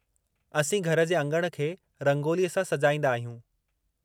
असीं घर जे अङण खे रंगोलीअ सां सजाईंदा आहियूं।